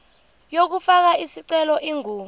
yokufaka isicelo ingu